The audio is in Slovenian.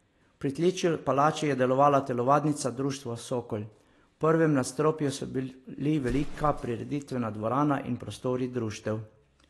V pritličju palače je delovala telovadnica društva Sokol, v prvem nadstropju so bili velika prireditvena dvorana in prostori društev.